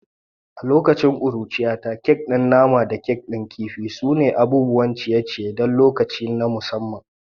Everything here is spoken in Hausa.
A lokacin ƙuruciyata, kek din nama da kek din kifi sune abubuwan ciye-ciye don lokuta na musamman.